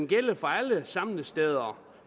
gælde for alle samlesteder